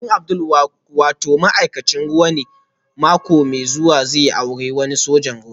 Abokin Abdul wato ma'aikacin ruwa ne mako mai zuwa zai auri wani sojan ruwa